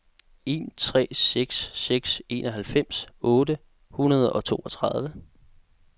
en tre seks seks enoghalvfems otte hundrede og treogtredive